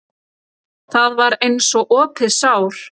Það var eins og opið sár.